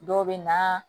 Dɔw bɛ na